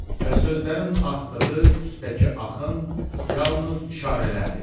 Və sözlərin axdığı üstəki axın yalnız işarələrdir.